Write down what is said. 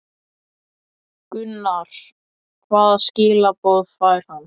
Gunnar: Hvaða skilaboð fær hann?